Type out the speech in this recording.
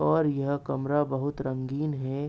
और यह कमरा बहुत रंगीन है।